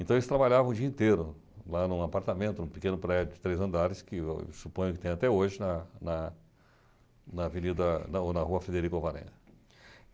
Então, eles trabalhavam o dia inteiro lá em um apartamento, em um pequeno prédio de três andares, que eu suponho que tem até hoje na na na Avenida... não na Rua Federico Alvarenga.